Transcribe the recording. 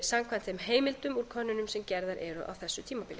samkvæmt þeim heimildum úr könnunum sem gerðar eru á þessu tímabili